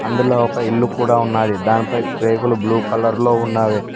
అందులో ఒక ఇల్లు కూడా ఉన్నది దానిపై రేకులు బ్లూ కలర్ లో ఉన్నావే.